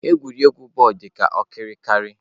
Egwuregwu bọọlụ dị ka okirikiri.